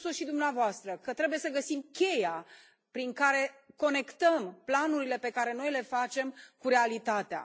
Ați spus o și dumneavoastră, că trebuie să găsim cheia prin care conectăm planurile pe care noi le facem cu realitatea.